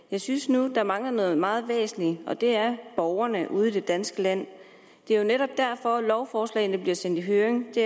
jeg synes nu at der mangler noget meget væsentligt og det er hensynet borgerne ude i det danske land det er jo netop derfor lovforslagene bliver sendt i høring det